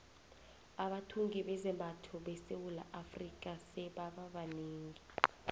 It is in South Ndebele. abathungi bezambatho esewula afrika sebaba banengi